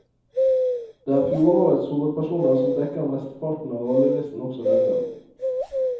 Det er fjorårets hovedpersoner som dekker mesteparten av rollelisten også denne gang.